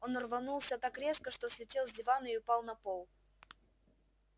он рванулся так резко что слетел с дивана и упал на пол